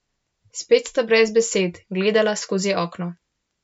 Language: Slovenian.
Spet sta brez besed gledala skozi okno.